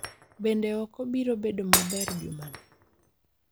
Bende oko biro bedo maber juma ni